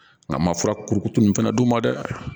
Nka n ma fura kurukuru nin fana d'u ma dɛ